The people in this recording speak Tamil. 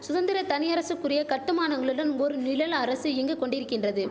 சுதந்திர தனியரசுக்குரிய கட்டுமானங்களுடன் ஒரு நிழல் அரசு இங்கு கொண்டிரிக்கின்றது